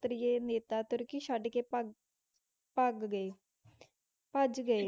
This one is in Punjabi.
ਸਤਰੀਏ ਨੇਤਾ ਤੁਰਕੀ ਛੱਡਕੇ ਭੱਗ ਭੱਗ ਗਏ ਭੱਜ ਗਏ।